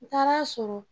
N taara a sɔrɔ